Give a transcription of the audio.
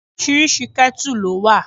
Oríṣi ketu ló wà.